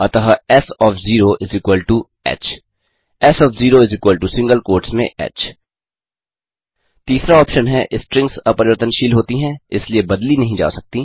अतः S of 0 ह S of 0single quotes में ह तीसरा ऑप्शन है स्ट्रिंग्स अपरिवर्तनशील होती हैं इसलिए बदली नहीं जा सकती